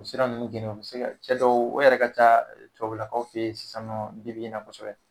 U sera nunnu cɛ dɔw, o yɛrɛ ka ca tubabulakaw fe yen sisan nɔ bi bi in na kosɛbɛ.